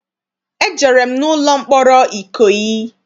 Ejere m n'ụlọ mkpọrọ Ikoyi.